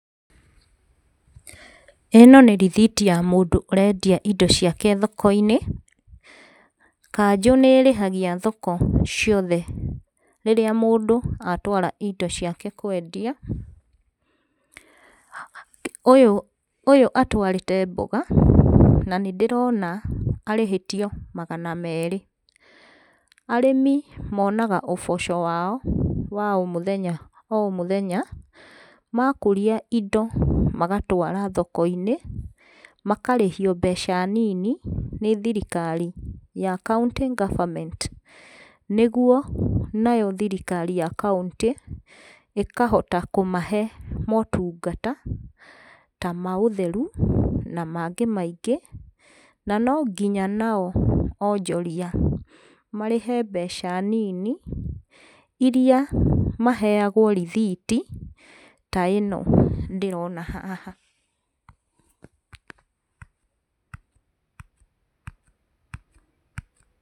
Ĩno nĩ rithiti ya mũndũ ũrendia indo ciake thoko-inĩ, kanjũ nĩ ĩrĩhagia thoko ciothe rĩrĩa mũndũ atwara indo ciake kwendia, ũyũ, ũyũ atwarĩte mboga, na nĩndĩrona arĩhĩtio magana merĩ. Arĩmi monaga ũboco wao wa o mũthenya o mũthenya, makũria indo magatwara thoko-inĩ makarĩhio mbeca nini nĩ thirikari ya county government, nĩguo nayo thirikari ya kauntĩ ĩkahota kũmahe motungata ta ma ũtheru na mangĩ maingĩ. Na nonginya nao onjoria marĩhe mbeca nini iria maheyagwo rithiti ta ĩno ndĩrona haha .